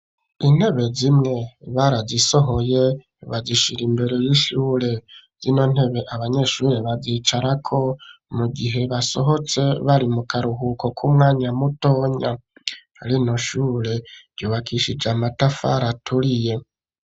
Intebe zimwe barazisohoye bazishira imbere y'ishure. Zino ntebe abanyeshure bazicarako mu gihe basohotse bari mu karuhuko k'umwanya mutonya. Rino shure ryubakishije amatafari aturiye.